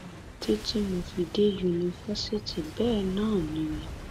títí tí mo fi dé yunifásitì bẹẹ náà ni